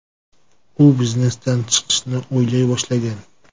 U biznesdan chiqishni o‘ylay boshlagan.